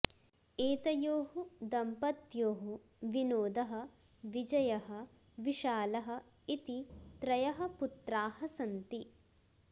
एतयोः दम्पत्योः विनोदः विजयः विशालः इति त्रयः पुत्रा सन्ति